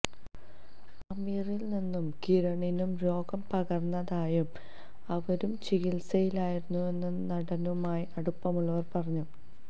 ആമിറില്നിന്ന് കിരണിനും രോഗം പകര്ന്നതായും അവരും ചികിത്സയിലാണെന്നും നടനുമായി അടുപ്പമുള്ളവര് പറഞ്ഞു